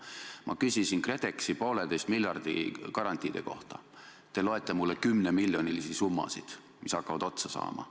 Ma küsisin KredExi 1,5 miljardi garantiide kohta, te loete mulle 10-miljonilisi summasid, mis hakkavad otsa saama.